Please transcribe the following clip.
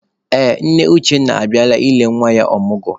Ee, nne Uchenna abịala ile nwa ya ọmụgwọ.